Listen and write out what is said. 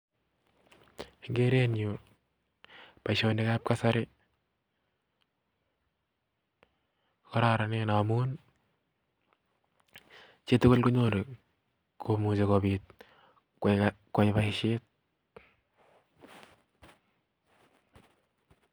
En kerenyun boishonik ab kasari ko kororonen ngamun chitugul konyoru komuch koyai boishiet